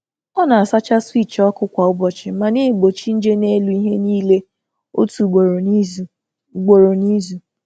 Ọ um na-asacha um switch um ọkụ kwa ụbọchị, ma na-egbochi nje n’elu ihe niile otu ugboro n’izu.